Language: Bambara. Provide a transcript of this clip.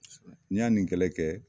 N y'a nin kɛlɛ kɛ